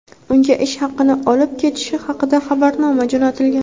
unga ish haqini olib ketishi haqida xabarnoma jo‘natilgan.